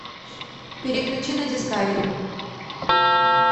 переключи на дискавери